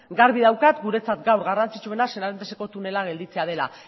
garbi daukat guretzat gaur garrantzitsuena seranteseko tunela gelditzea dela